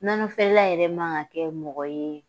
Nɔnɔfeerela yɛrɛ man k'an kɛ mɔgɔ ye